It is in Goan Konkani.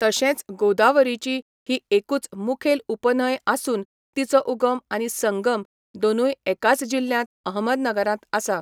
तशेंच गोदावरीची ही एकूच मुखेल उपन्हंय आसून तिचो उगम आनी संगम दोनूय एकाच जिल्ह्यांत अहमदनगरांत आसा.